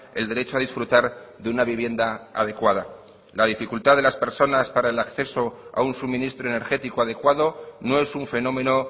el derecho a disfrutar de una vivienda adecuada la dificultad de las personas para el acceso a un suministro energético adecuado no es un fenómeno